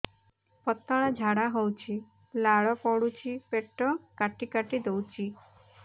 ପତଳା ଝାଡା ହଉଛି ଲାଳ ପଡୁଛି ପେଟ କାଟି କାଟି ଦଉଚି